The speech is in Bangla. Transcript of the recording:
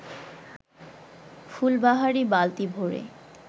ফুলবাহারি বালতি ভরে